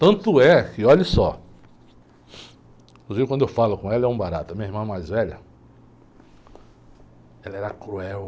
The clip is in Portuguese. Tanto é que, olhe só, inclusive quando eu falo com ela, é um barato, a minha irmã mais velha, ela era cruel.